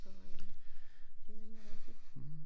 Så øh det nemlig rigtigt